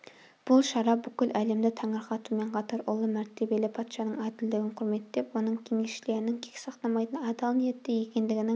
бұл шара бүкіл әлемді таңырқатумен қатар ұлы мәртебелі патшаның әділдігін құрметтеп оның кеңесшілерінің кек сақтамайтын адал ниетті екендігінің